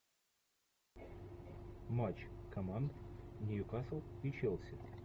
матч команд ньюкасл и челси